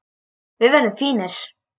Við verðum fínir.